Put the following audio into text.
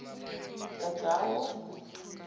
tajawo